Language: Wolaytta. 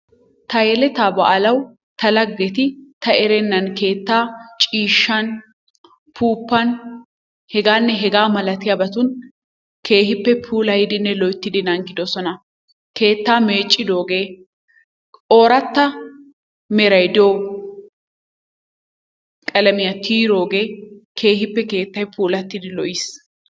Ta yeletaa baalawu ta lagetti ta erennan keettaa ciishshan , upuuppan hegaanne hegaa malattiyabatun keehippe puulayidinne loyttidi naagidosona. Keettaa meeccidoogee ooratta meray diyo qalamiya tiyidoogee keehippe keettay pulattidi lo'iis.